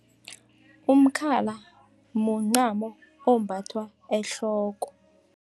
Umkhala mncamo ombathwa ehloko.